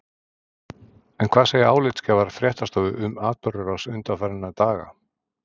En hvað segja álitsgjafar fréttastofu um atburðarrás undanfarinna daga?